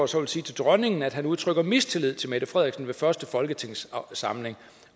så vil sige til dronningen at han udtrykker mistillid til mette frederiksen ved første folketingssamling